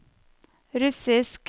russisk